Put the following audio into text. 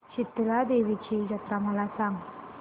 शितळा देवीची जत्रा मला सांग